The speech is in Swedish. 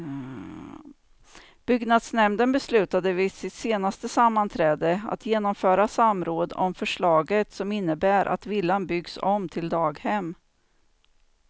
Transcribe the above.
Byggnadsnämnden beslutade vid sitt senaste sammanträde att genomföra samråd om förslaget som innebär att villan byggs om till daghem.